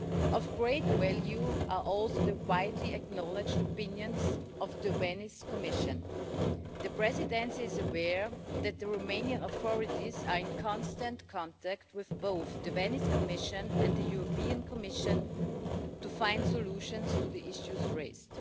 Of great value, too, are the widely acknowledged opinions of the Venice Commission. The Presidency is aware that the Romanian authorities are in constant contact with both the Venice Commission and the European Commission to find solutions to the issues raised.